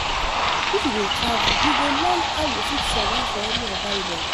If you dey travel, you go learn how you fit survive for any environment.